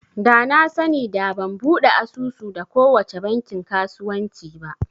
Da na sani da ban buɗe asusu da kowace bankin kasuwanci ba